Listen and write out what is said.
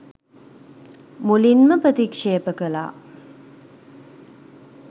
මුලින්ම ප්‍රතික්ෂේප කළා.